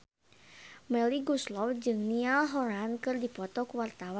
Melly Goeslaw jeung Niall Horran keur dipoto ku wartawan